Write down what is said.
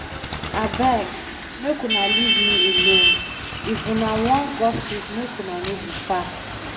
Abeg make una leave me alone. If una wan gossip make una know the facts.